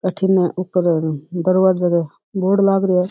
अठीन ऊपर दरबाजे का बोर्ड लाग रयो है।